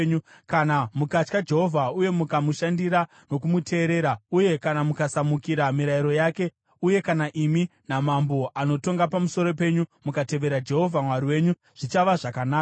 Kana mukatya Jehovha uye mukamushandira nokumuteerera uye mukasamukira mirayiro yake, uye kana imi namambo anotonga pamusoro penyu mukatevera Jehovha Mwari wenyu, zvichava zvakanaka!